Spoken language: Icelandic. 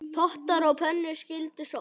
Pottar og pönnur skyldu sótt.